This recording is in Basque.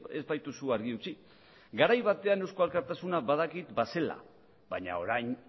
ez baituzu argi utzi garai batean eusko alkartasuna badakit bazela baina orain